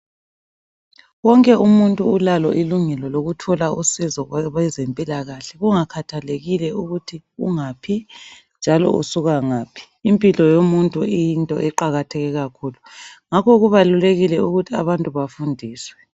Wonke umuntu ulalo ilungelo lokuthola usizo kwezempilakahle kungakhethelekile ukuthi ungaphi njalo usuka ngaphi, impilo yomuntu iyinto eqakatheke kakhulu. Ngakho kubalulekile ukuthi abantu bafundiswe.